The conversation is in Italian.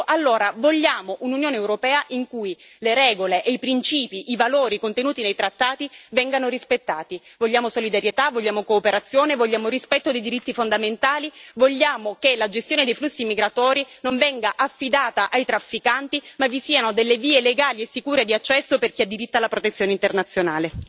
Ecco, allora vogliamo un'Unione europea in cui le regole e i principi, i valori contenuti nei trattati, vengano rispettati. Vogliamo solidarietà, vogliamo cooperazione, vogliamo rispetto dei diritti fondamentali, vogliamo che la gestione dei flussi migratori non venga affidata ai trafficanti ma vi siano delle vie legali e sicure di accesso per chi ha diritto alla protezione internazionale.